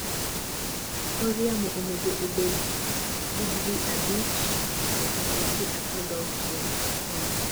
kor yamo onego obed 5°C - 16°C. Koth